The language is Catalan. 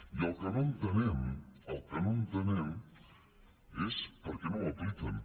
i el que no entenem el que no entenem és per què no ho apliquen